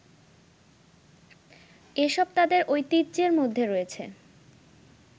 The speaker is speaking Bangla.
এসব তাদের ঐতিহ্যের মধ্যে রয়েছে